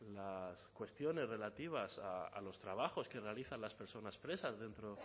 las cuestiones relativas a los trabajos que realizan las personas presas dentro